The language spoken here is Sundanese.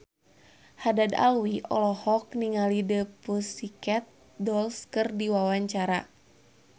Haddad Alwi olohok ningali The Pussycat Dolls keur diwawancara